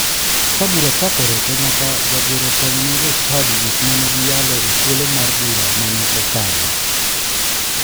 Ka bura chakore to nyaka jagoro som ne jochadi gik mane giyalo e thuolo mar bura mane okalo.